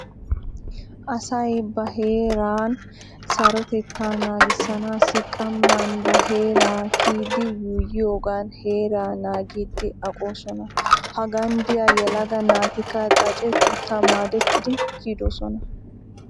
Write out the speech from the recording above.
Asay ba heeran sarotetaa naagissanaassi qamman ba heeran kiyidi yuuyyiyoogan heeraa naagiiddi aqqosona. Hagan diya yelaga naatikka xaacetuuta maadettidi kiyidosona.